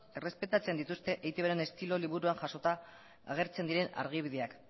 errespetatzen dituzte eitbren estilo liburua jasota agertzen diren adibideak